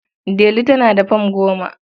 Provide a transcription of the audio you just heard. Delu tana da fam goma.